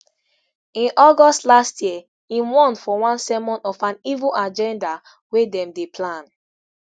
in august last year im warn for one sermon of an evil agenda wey dem dey plan